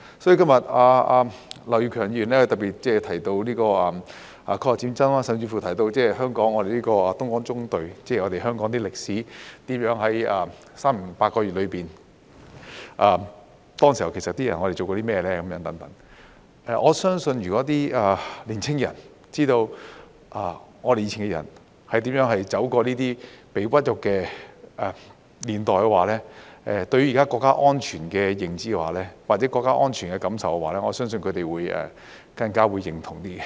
所以，今日劉業強議員特別提到抗日戰爭，甚至是香港東江縱隊的歷史，在3年零8個月中，當時的人其實做過甚麼等。我相信如果年輕人知道我們以前的人是如何走過這些屈辱的年代的話，對於現時國家安全的認知或國家安全的感受，我相信他們會更加認同。